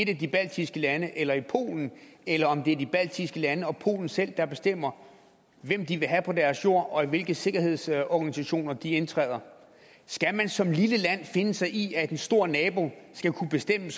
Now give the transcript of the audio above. et af de baltiske lande eller i polen eller om det er de baltiske lande og polen selv der bestemmer hvem de vil have på deres jord og i hvilke sikkerhedsorganisationer de indtræder skal man som lille land finde sig i at en stor nabo skal kunne bestemme